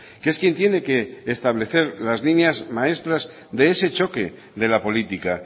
que es quien tiene que establecer las líneas maestras de ese choque de la política